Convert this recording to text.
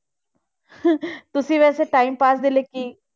ਤੁਸੀਂ ਵੈਸੇ time pass ਦੇ ਲਈ ਕੀ,